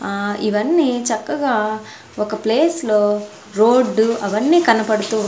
ఆ ఇవన్నీ చక్కగా ఒక ప్లేస్ లో రోడ్డు అవన్నీ కనపడుతూ.